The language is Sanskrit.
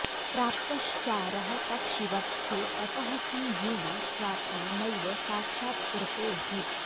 प्राप्तश्चारः पक्षिवत्खे ततः किं येन स्वात्मा नैव साक्षात्कृतोऽभूत्